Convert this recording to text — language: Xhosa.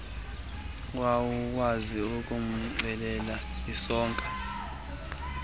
wawukwazi ukumcelela isoka